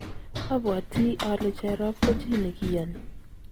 abwatii ale Jerop ko chi nekiyoni.